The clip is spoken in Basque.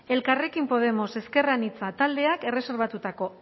elkarrekin podemos ezker anitza taldeak erreserbatutako